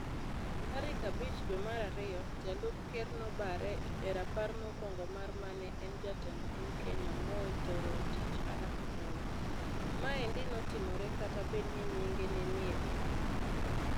Tarik abich dwe mar ario, jalup ker nobare e rapar mokwongo mar mane en jatend piny Kenya Moi Toroitich arap Moi. Maendi notimore kata bed ni nyinge nenie p